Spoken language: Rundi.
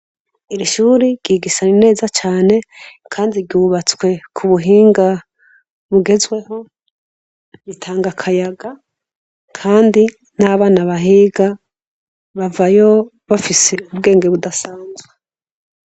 Iri shuri ryigisane neza cane, kandi rubatswe ku buhinga bugezweho ritanga akayaga, kandi n'abana bahiga bavayo bafise ubwenge budasanzwe.